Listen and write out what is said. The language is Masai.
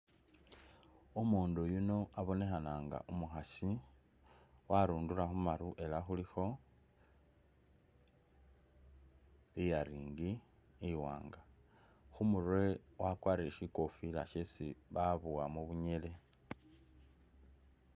Umundu yuno abonekhananga umukhasi warundula kharu ela khulikho ear ring iwanga khumurwe wakwarile shikhofila shesi babuwa mubunyele.